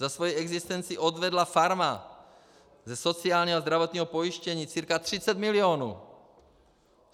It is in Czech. Za svoji existenci odvedla farma ze sociálního a zdravotního pojištění cca 30 milionů.